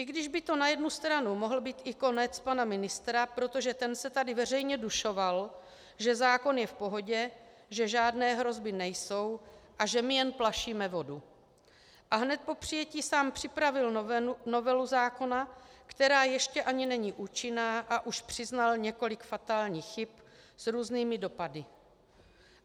I když by to na jednu stranu mohl být i konec pana ministra, protože ten se tady veřejně dušoval, že zákon je v pohodě, že žádné hrozby nejsou a že my jen plašíme vodu, a hned po přijetí sám připravil novelu zákona, která ještě ani není účinná, a už přiznal několik fatálních chyb s různými dopady.